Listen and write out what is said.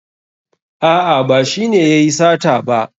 A'a ba shi ne yayi sata ba.